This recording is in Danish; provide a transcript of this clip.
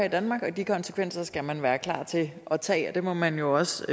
i danmark og de konsekvenser skal man være klar til at tage og det må man jo også